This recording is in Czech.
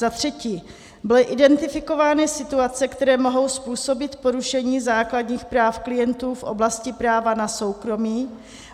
Za třetí, byly identifikovány situace, které mohou způsobit porušení základních práv klientů v oblasti práva na soukromí